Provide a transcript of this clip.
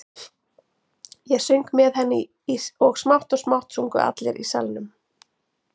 Ég söng með henni og smátt og smátt sungu allir í salnum.